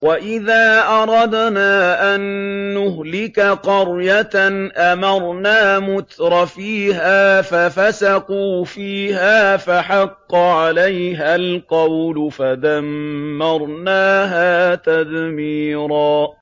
وَإِذَا أَرَدْنَا أَن نُّهْلِكَ قَرْيَةً أَمَرْنَا مُتْرَفِيهَا فَفَسَقُوا فِيهَا فَحَقَّ عَلَيْهَا الْقَوْلُ فَدَمَّرْنَاهَا تَدْمِيرًا